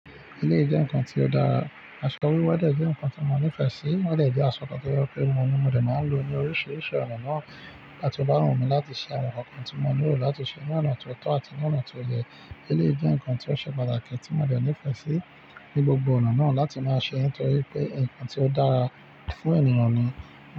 Elé ì jẹ nnkan ti ọ dara, aṣọ wíwẹ̀ jẹ́ nkan tí mo nifẹ sí, o dẹ̀ jẹ́ aṣọ kan to je pe mo ní mo dé máa n lo ní oríṣiríṣi ọ̀nà náà nígbà bá wu mí láti ṣe àwọn nnkan kan tí mo nílò láti ṣe ní ọ̀nà tó tọ́ àti ní ọ̀nà tó yẹ. Elé ì jẹ nnkan tí ó ṣe pàtàkì tí mo dé nifẹ sí ní gbogbo ọ̀nà náà láti máa ṣe, nítorí pé nkan tí ó dára fún ènìyàn ni.